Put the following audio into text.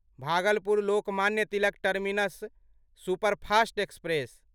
Bhagalpur Lokmanya Tilak terminus superfast express